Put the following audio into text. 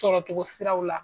Sɔrɔ cogo siraw la